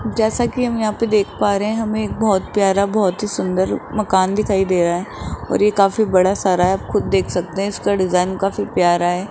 जैसा कि हम यहां पे देख पा रहे हैं हमे एक बहोत प्यारा बहोत ही सुंदर मकान दिखाई दे रहा है और ये काफी बड़ा सारा है आप खुद देख सकते हैं इसका डिजाइन काफी प्यारा है।